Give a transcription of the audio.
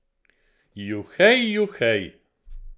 Juhej, juhej!